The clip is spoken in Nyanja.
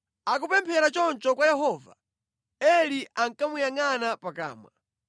Akupemphera choncho kwa Yehova, Eli ankamuyangʼana pakamwa.